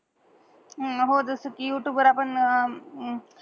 अहो जस कि युटूब वर आपण